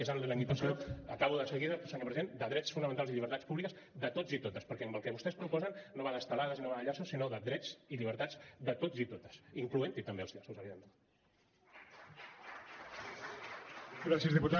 és amb la limitació acabo de seguida senyor president de drets fonamentals i llibertats públiques de tots i totes perquè el que vostès proposen no va d’estelades i no va de llaços sinó de drets i llibertats de tots i totes inclosos també els llaços evidentment